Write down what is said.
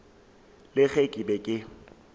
le ge ke be ke